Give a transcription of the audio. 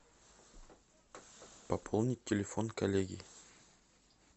пополнить телефон коллеги